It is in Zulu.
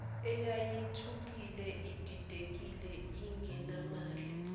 eyayithukile ididekile ingenamali